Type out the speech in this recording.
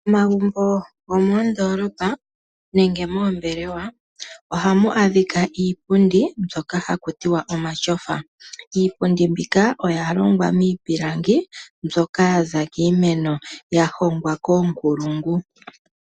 Omagumbo go moondoolopa nenge moombelewa, oha mu adhika iipundi mbyoka haku tiwa omatyofa. Iipundi mbika oya longwa miipilangi mbyoka yaza kiimeno, ya hongwa koonkulungu.